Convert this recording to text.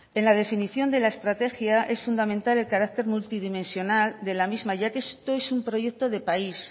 en la definición de la estrategia es fundamental el carácter multidimensional de la misma ya que esto es un proyecto de país